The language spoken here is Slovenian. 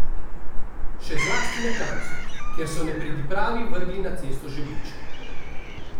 Še zlasti na klancu, kjer so nepridipravi vrgli na cesto žebljičke.